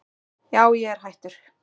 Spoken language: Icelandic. Já ég er hættur.